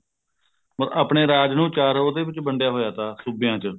ਆਪਣੇ ਰਾਜ ਨੂੰ ਚਾਰ ਉਹਦੇ ਵਿੱਚ ਵੰਡਿਆ ਹੋਇਆ ਤਾ ਸੂਬੇਆਂ ਚ